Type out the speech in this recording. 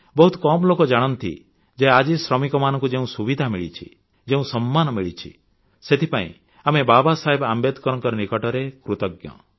ବହୁତ କମ୍ ଲୋକ ଜାଣନ୍ତି ଯେ ଆଜି ଶ୍ରମିକମାନଙ୍କୁ ଯେଉଁ ସୁବିଧା ମିଳିଛି ଯେଉଁ ସମ୍ମାନ ମିଳିଛି ସେଥିପାଇଁ ଆମେ ବାବା ସାହେବ ଆମ୍ବେଦକରଙ୍କ ନିକଟରେ କୃତଜ୍ଞ